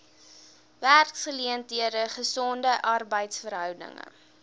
werksgeleenthede gesonde arbeidsverhoudinge